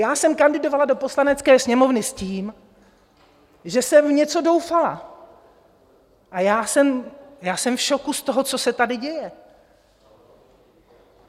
Já jsem kandidovala do Poslanecké sněmovny s tím, že jsem v něco doufala, a já jsem v šoku z toho, co se tady děje.